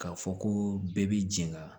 K'a fɔ ko bɛɛ b'i jɛn ka